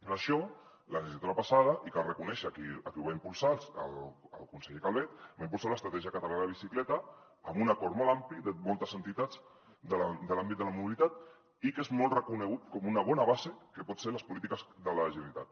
per això la legislatura passada i cal reconèixer ho a qui ho va impulsar el conseller calvet va impulsar l’estratègia catalana de bicicleta amb un acord molt ampli de moltes entitats de l’àmbit de la mobilitat i que és molt reconegut com una bona base de què poden ser les polítiques de la generalitat